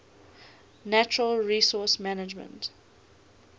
natural resource management